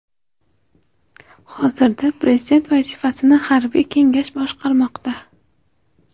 Hozirda prezident vazifasini harbiy kengash boshqarmoqda.